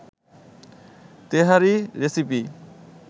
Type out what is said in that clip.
তেহারি recipe